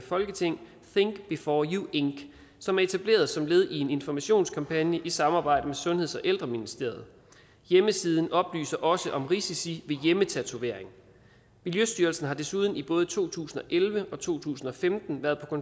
folketing think before you ink som er etableret som led i en informationskampagne i samarbejde med sundheds og ældreministeriet hjemmesiden oplyser også om risici ved hjemmetatovering miljøstyrelsen har desuden i både to tusind og elleve og to tusind og femten været